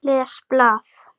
Les blað.